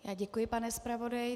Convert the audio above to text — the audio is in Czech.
Já děkuji, pane zpravodaji.